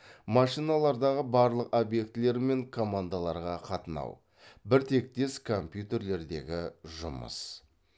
машиналардағы барлық объектілер мен командаларға қатынау бір тектес компьютерлердегі жұмыс